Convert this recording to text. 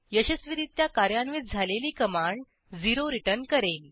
यशस्वीरित्या कार्यान्वित झालेली कमांड 0झिरोरिटर्न करेल